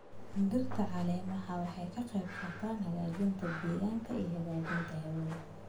Dhirta caleemaha waxay ka qayb qaataan hagaajinta deegaanka iyo hagaajinta hawada.